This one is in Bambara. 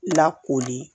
Lakoli